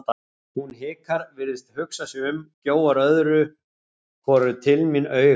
Hún hikar, virðist hugsa sig um, gjóar öðru hvoru til mín auga.